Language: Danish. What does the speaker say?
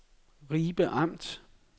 Ribe Amt